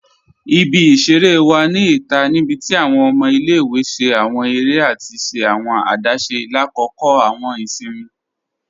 Ibi-iṣẹ̀rẹ̀ wa ni ita nibíti awọn ọmọ ilẹ̀-iwe ṣẹ̀ awọn èrè àti ṣẹ̀ awọn àdásé lákọ́kọ̀ awọn ìṣìnmi.